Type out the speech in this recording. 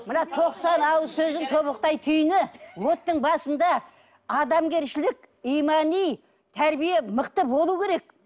мына тоқсан ауыз сөздің тобықтай түйіні оттың басында адамгершілік имани тәрбие мықты болуы керек